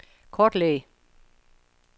kortlæg